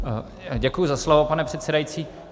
Děkuji za slovo, pane předsedající.